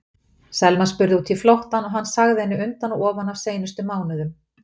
Selma spurði út í flóttann og hann sagði henni undan og ofan af seinustu mánuðum.